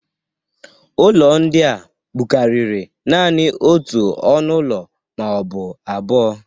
Ụlọ ndị a bụkariri nanị otu ọnụ ụlọ ma ọ bụ abụo.